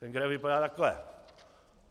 Ten graf vypadá takhle.